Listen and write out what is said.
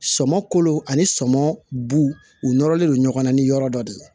Sɔmɔ kolo ani sɔmɔ bu u nɔrɔlen don ɲɔgɔn na ni yɔrɔ dɔ de ye